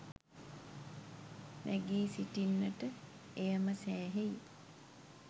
නැගී සිටින්නට එය ම සෑහෙයි.